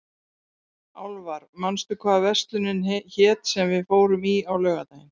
Álfar, manstu hvað verslunin hét sem við fórum í á laugardaginn?